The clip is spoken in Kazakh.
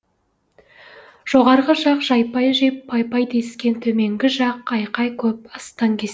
жоғарғы жақ жайпай жеп пай пай дескен төменгі жақ айқай көп астаң кес